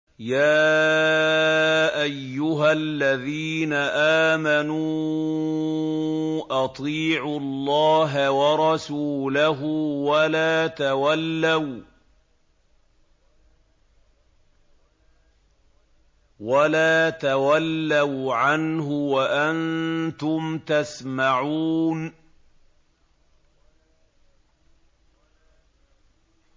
يَا أَيُّهَا الَّذِينَ آمَنُوا أَطِيعُوا اللَّهَ وَرَسُولَهُ وَلَا تَوَلَّوْا عَنْهُ وَأَنتُمْ تَسْمَعُونَ